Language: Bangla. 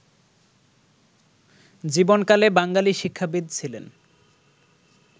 জীবনকালে বাঙালি শিক্ষাবিদ ছিলেন